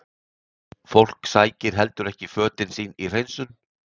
Fólk sækir heldur ekki fötin sín í hreinsun?